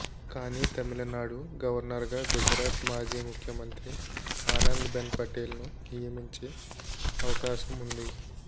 కానీ తమిళనాడు గవర్నర్ గా గుజరాత్ మాజీ ముఖ్యమంత్రి ఆనంది బెన్ పటేల్ ను నియమించే అవకాశం ఉంది